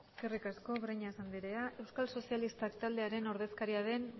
eskerrik asko breñas anderea euskal sozialistak taldearen ordezkaria den